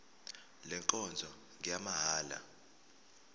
le nkonzo ngeyamahala